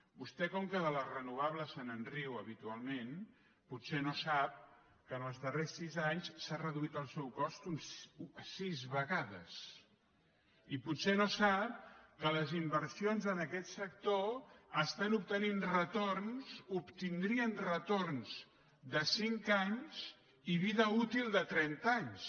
vostè com que de les renovables se’n riu habitualment potser no sap que en els darrers sis anys s’ha reduït el seu cost sis vegades i potser no sap que les inver sions en aquest sector estan obtenint retorns obtindrien retorns de cinc anys i vida útil de trenta anys